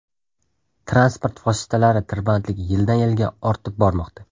Transport vositalari tirbandligi yildan yilga ortib bormoqda.